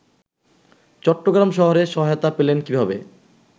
চট্টগ্রাম শহরের সহায়তা পেলেন কীভাবে